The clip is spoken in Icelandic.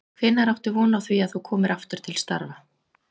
Hvenær áttu von á því að þú komir aftur til starfa?